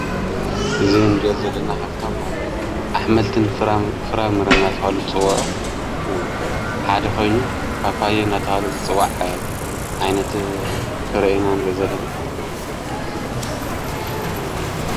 እዝ ንሬኦ ዘለና ኻብቶም ኣኅመልትን ፍራምር ኣተሃሉ ጽውዑ ሓዲ ኾይኑ ባጳይ ናታሃለ ዝጽዋዕ ዓይነት ፍረአና ን ዘለና።